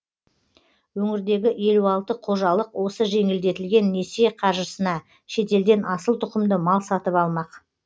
өңірдегі елу алты қожалық осы жеңілдетілген несие қаржысына шетелден асыл тұқымды мал сатып алмақ